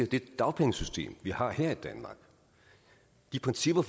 det dagpengesystem vi har her i danmark de principper